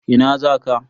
Ina za ka?